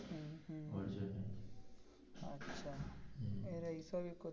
আচ্ছা এরা এইসব করছে.